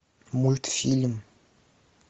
мультфильм